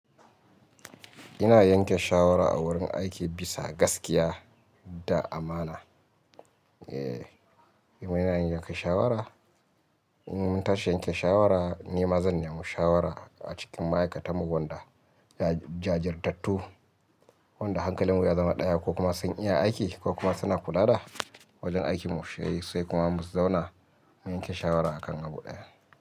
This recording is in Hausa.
Ina yanke shawara a wurin aiki bisa gaskiya da amana. Eh, idan muna yanke shawara, idan mun tashi yanke shawara, ni mazan ne mushawara a cikin ma'aikatanmu wanda jajirtattu, wanda hankalinmu ya zama ɗaya ko kuma sun iya aiki ko kuma suna kula da wajen aikinmu, sai kuma mu zauna mu yanke shawara a kan abu ɗaya.